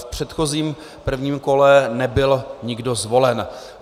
V předchozím, prvním kole nebyl nikdo zvolen.